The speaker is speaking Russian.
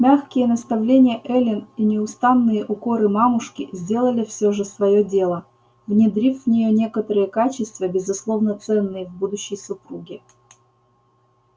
мягкие наставления эллин и неустанные укоры мамушки сделали все же своё дело внедрив в неё некоторые качества безусловно ценные в будущей супруге